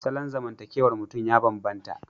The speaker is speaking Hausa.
Salon zamantakewar mutum ya bambanta.